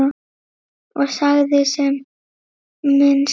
Ég sagði sem minnst.